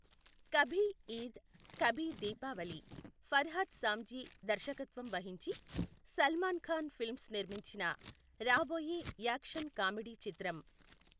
కభీ ఈద్ కభీ దీపావళి ఫర్హాద్ సామ్జీ దర్శకత్వం వహించి సల్మాన్ ఖాన్ ఫిల్మ్స్ నిర్మించిన రాబోయే యాక్షన్ కామెడీ చిత్రం.